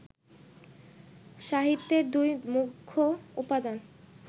সাহিত্যের দুই মুখ্য উপাদান